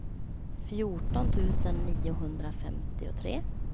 fjorton tusen niohundrafemtiotre